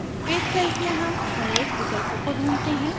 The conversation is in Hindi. page size में हम अनेक विकल्पों को ढूँढते हैं